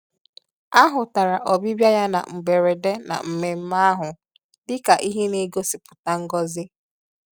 A hụtara ọbịbịa ya na mgberede na mmemmé ahụ dị ka ihe na-egosipụta ngọzi